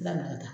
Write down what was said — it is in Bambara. Lamanakan